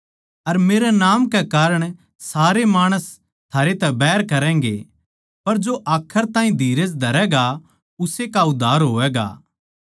अर मेरै नाम कै कारण सारे माणस थारै तै बैर करैगें पर जो आखर ताहीं धीरज धरैगा उस्से का उद्धार होवैगा